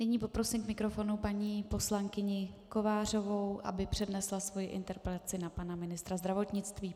Nyní poprosím k mikrofonu paní poslankyni Kovářovou, aby přednesla svoji interpelaci na pana ministra zdravotnictví.